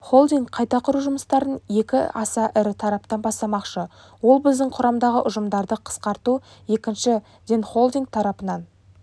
холдинг қайта құру жұмыстарын екі аса ірі тараптан бастамақшы ол біздің құрамдағы ұжымдарды қысқарту екіншіденхолдинг тарапынан